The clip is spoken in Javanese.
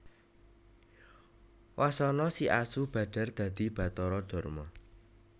Wasana si asu badhar dadi Bathara Darma